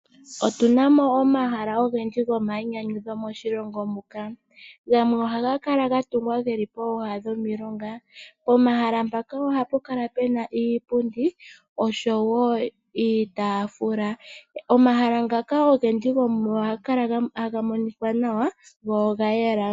Otuna mo omahala ogendji gomainyanyudho moshilongo muka, gamwe ohaga kala gatungwa geli pooha dhomilonga. Pomahala mpoka ohapu kala puna iipundi osho woo iitaafula. Omahala ngaka ogendji gomugo ohaga kala taga monika nawa go oga yela.